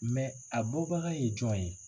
Mɛ a bɔbaga ye jɔn ye?